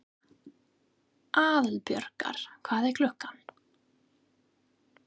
Aðalborgar, hvað er klukkan?